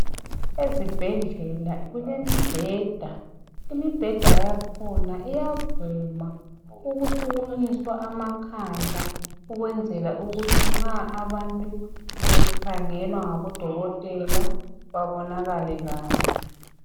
Ezibhedlela kulemibheda. Imibheda yakhona iyavuma ukusukunyiswa amakhanda. Ukwenzela ukuthi nxa abantu nxa bekhangelwa ngabodokotela. Babonakale kahle.